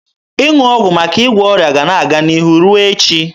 Ịṅụ ọgwụ maka ịgwọ ọrịa ga-ana aga n'ihu ruo echi.